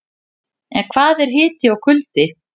En hvað er hiti og kuldi?